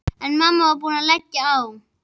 En mamma var búin að leggja á.